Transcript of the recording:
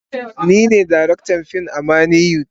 Ni ne darektan fim a manny wood.